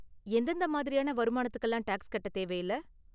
எந்தெந்த மாதிரியான வருமானத்துக்குலாம் டேக்ஸ் கட்ட தேவையில்ல?